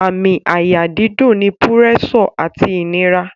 Àmì àyà dídùn ni púrẹ́sọ̀ àti ìnira